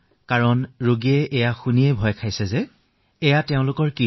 কাৰণ ৰোগীয়ে শুনিয়েই আতংকিত হৈ পৰে যে তেওঁৰ সৈতে এয়া কি হৈছে